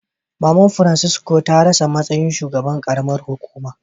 Mama'n Francisco ta rasa matsayin shugaban karamar hukuma.